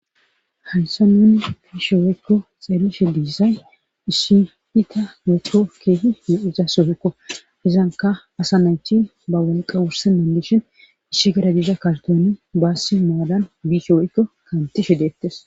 Haysa nuni biishe woykko xeellishe diisay issiita woykko keehie iza sohekko izanka asa naychin ba walqa wurse dandishin ishi gara diiza kartoni baassi maadan biishe woykko kaantishe deettes.